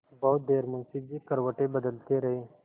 बहुत देर मुंशी जी करवटें बदलते रहे